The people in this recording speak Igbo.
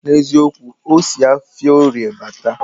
Na eziokwu, osi afia orie bata